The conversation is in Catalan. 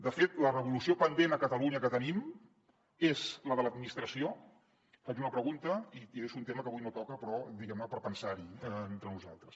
de fet la revolució pendent a catalunya que tenim és la de l’administració faig una pregunta i deixo un tema que avui no toca però diguem ne per pensar hi entre nosaltres